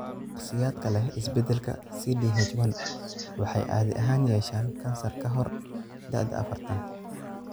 Shakhsiyaadka leh isbeddelka CDH1 waxay caadi ahaan yeeshaan kansar ka hor da'da afartan.